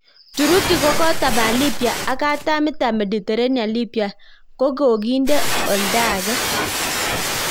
Turuki kokotapal libya ak katam itap Mediterranean Libya ko kokinde oltangee.